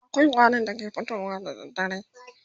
akwai ƙwarin da ke fitowa da dare